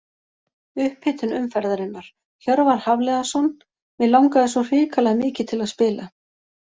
Upphitun umferðarinnar: Hjörvar Hafliðason Mig langaði svo hrikalega mikið til að spila.